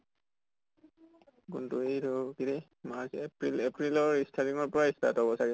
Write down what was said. কোনটো এইটো কি ৰে march april april ৰ starting পৰা start হʼব চাগে।